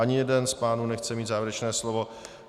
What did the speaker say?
Ani jeden z pánů nechce mít závěrečné slovo.